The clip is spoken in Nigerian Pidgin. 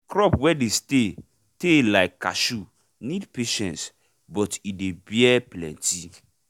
crop wey dey stay tay like cashew need patiece but e dey bear plenty